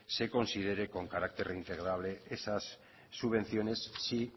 se considere con carácter reintegrable esas subvenciones si